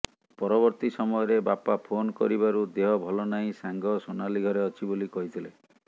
ପରବର୍ତ୍ତୀ ସମୟରେ ବାପା ଫୋନ କରିବାରୁ ଦେହ ଭଲ ନାହିଁ ସାଙ୍ଗ ସୋନାଲି ଘରେ ଅଛି ବୋଲି କହିଥିଲେ